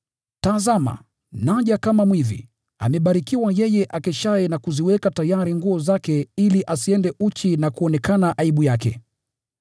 “Tazama, naja kama mwizi! Amebarikiwa yeye akeshaye na kuziweka tayari nguo zake ili asiende uchi na kuonekana aibu yake.”